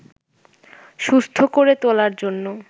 সুস্থ করে তোলার জন্য